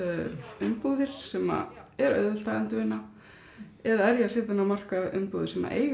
umbúðir sem er auðvelt að endurvinna eða er ég að setja inn á markað umbúðir sem eiga í